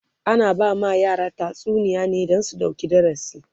ana ba ma yara tatsuniya ne Dan su ɗauki darasi